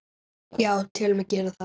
Já, tel mig gera það.